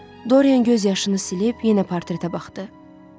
Doryan gözyaşını silib, yenə portretə baxdı.